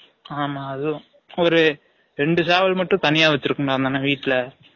ஆமா அதுவும் ஒரு ரெண்டு சேவல் மட்டும் தனியா வச்சு இருக்கும் டா அந்த அன்னன் வீட்ல